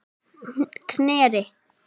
Knerri